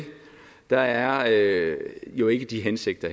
der er jo ikke de hensigter